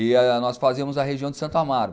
E nós fazíamos a região de Santo Amaro.